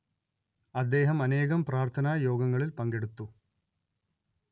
അദ്ദേഹം അനേകം പ്രാർത്ഥനാ യോഗങ്ങളിൽ പങ്കെടുത്തു